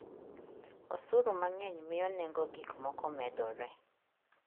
Osuru mang'eny miyo nengo gik moko medore.